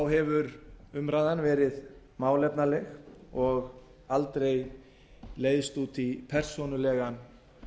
hefur umræðan verið málefnaleg og aldrei leiðst út í persónulegan